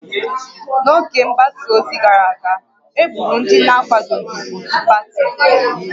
N'oge mgbasa ozi gara aga, e gburu ndị na-akwadoghị otu pati